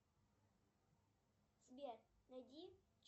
сбер найди